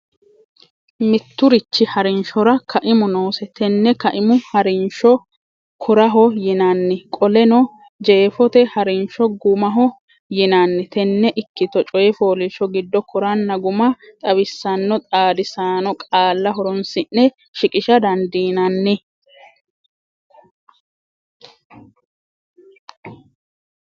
Mitturichi ha’rinshora kaimu noose Tenne kaimu ha’rinsho koraho yinanni Qoleno, jeefote ha’rinsho gumaho yinanni Tenne ikkito coy fooliishsho giddo koranna guma xawissanno xaadisaano qaalla horonsi’ne shiqisha dandiinanni?